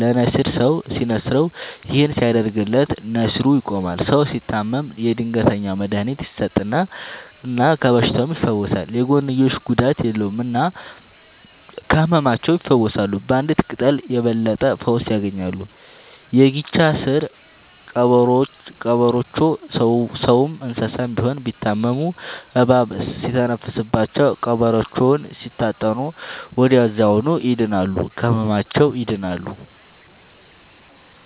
ለነሲር ሰው ሲንስረው ይህን ሲያደርግለት ነሲሩ ይቆማል። ሰው ሲታመም የድንገተኛ መድሀኒት ይሰጠል እና ከበሽታውም ይፈወሳል። የጎንዮሽ ጉዳት የለውም እና ከህመማቸው ይፈውሳሉ ባንዲት ቅጠል የበለጠ ፈውስ ያገኛሉ። የጊቻ ስር ቀበሮቾ ሰውም እንሰሳም ቢሆን ቢታመሙ እባብ ሲተነፍስባቸው ቀብሮቾውን ሲታጠኑ ወደዚያውኑ ይድናሉ። ከህመማቸው ይድናሉ…ተጨማሪ ይመልከቱ